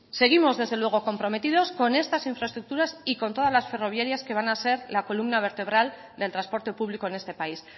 seguimos desde luego comprometidos con estas infraestructuras y con todas las ferroviarias que van a ser la columna vertebral del transporte público en este país